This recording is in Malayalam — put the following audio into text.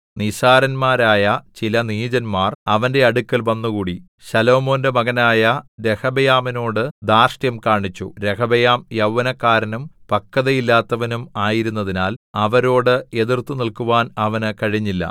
നിസ്സാരന്മാരായ ചില നീചന്മാർ അവന്റെ അടുക്കൽ വന്നുകൂടി ശലോമോന്റെ മകനായ രെഹബെയാമിനോടു ധാർഷ്ട്യം കാണിച്ചു രെഹബെയാം യൗവനക്കാരനും പക്വതയില്ലാത്തവനും ആയിരുന്നതിനാൽ അവരോട് എതിർത്തുനില്ക്കുവാൻ അവന് കഴിഞ്ഞില്ല